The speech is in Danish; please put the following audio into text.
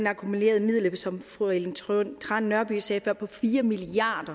akkumulerede midler som fru ellen trane nørby sagde før på fire milliard